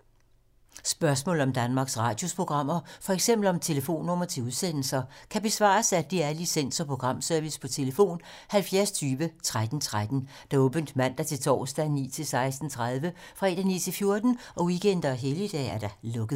Spørgsmål om Danmarks Radios programmer, f.eks. om telefonnumre til udsendelser, kan besvares af DR Licens- og Programservice: tlf. 70 20 13 13, åbent mandag-torsdag 9.00-16.30, fredag 9.00-14.00, weekender og helligdage: lukket.